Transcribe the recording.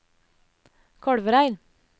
Kolvereid